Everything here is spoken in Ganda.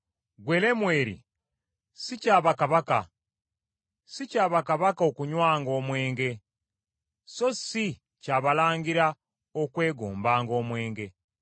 Ggwe Lemweri, si kya bakabaka, si kya bakabaka okunywanga omwenge, so si kya balangira okwegombanga omwenge,